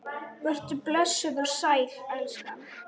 Vertu blessuð og sæl, elskan!